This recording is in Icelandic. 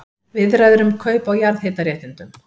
Viðræður um kaup á jarðhitaréttindum